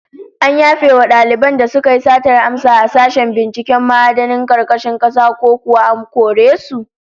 An yafe wa daliban da suka yi satar amsa a sashen binciken ma'adinan karkashin kasa, ko kuwa an kore su?